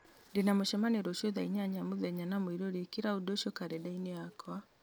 ndĩna mũcemanio rũciũ thaa inyanya mũthenya na mũirũrĩ ĩkĩra ũndũ ũcio karenda-inĩ yakwa